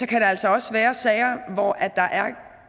kan altså også være sager hvor der er